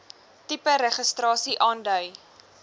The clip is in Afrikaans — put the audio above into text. tipe registrasie aandui